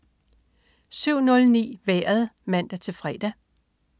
07.09 Vejret (man-fre)